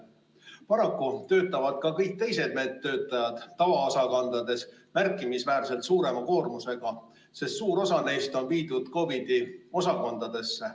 Paraku töötavad ka kõik teised meditsiinitöötajad tavaosakondades märkimisväärselt suurema koormusega, sest suur osa neist on viidud COVID‑i osakondadesse.